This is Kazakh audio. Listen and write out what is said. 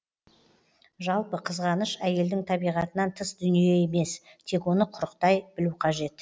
жалпы қызғаныш әйелдің табиғатынан тыс дүние емес тек оны құрықтай білу қажет